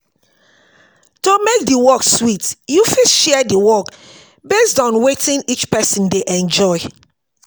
To make di work sweet you fit share di work based on wetin each person dey enjoy